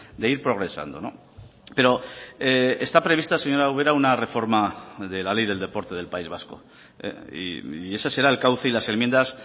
de ir progresando pero esta prevista señora ubera una reforma de la ley del deporte del país vasco y ese será el cauce y las enmiendas